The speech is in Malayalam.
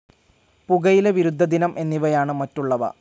പുകയില വിരുദ്ധദിനം എന്നിവയാണ് മറ്റുള്ളവ.